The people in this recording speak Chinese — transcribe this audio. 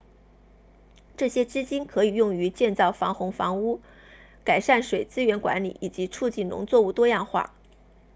这些资金可以用于建造防洪房屋改善水资源管理以及促进农作物多样化